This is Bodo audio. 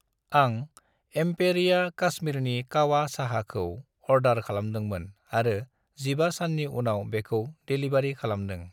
आं एम्पेरिया काश्मीरनि कावा साहा खौ अर्डार खालामदोंमोन आरो 15 साननि उनाव बेखौ डेलिबारि खालामदों।